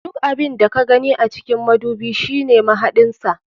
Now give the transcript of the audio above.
Duk abun da ka gani a cikin madubi shine mahaɗin sa.